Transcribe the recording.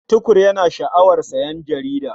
Tukur yana sha'awar sayen jarida.